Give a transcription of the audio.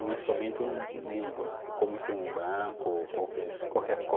Não é somente um negro, como ser um branco, qualquer qualquer cor